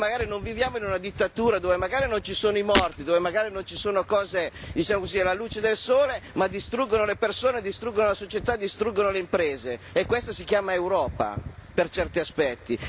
Noi magari non viviamo in una dittatura, dove magari non ci sono i morti, dove magari non ci sono cose, diciamo così alla luce del sole, ma distruggono le persone, distruggono la società, distruggono le imprese, e questa si chiama Europa per certi aspetti.